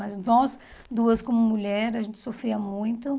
Mas nós duas, como mulher, a gente sofria muito.